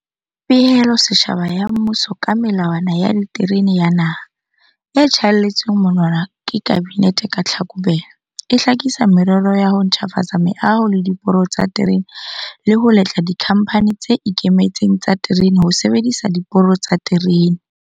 Pehelo setjhaba ya mmuso ka Melawana ya Diterene ya Naha, e tjhaelletsweng monwana ke Kabinete ka Tlhakubele, e hlakisa merero ya ho ntjhafatsa meaho le diporo tsa diterene le ho letla dikhamphani tse ikemetseng tsa diterene ho sebedisa diporo tsa diterene.